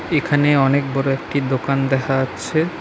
এখানে অনেক বড় একটি দোকান দেখা যাচ্ছে।